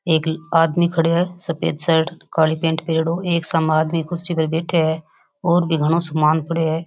एक आदमी खड़ो है सफ़ेद शर्ट काली पेंट पहरेडो एक साम आदमी कुर्सी पर बैठा है और भी घनों समान पड़ो है।